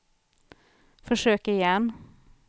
försök igen